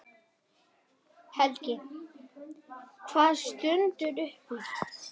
Helgi: Hvað stendur upp úr?